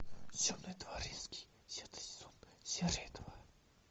темный дворецкий десятый сезон серия два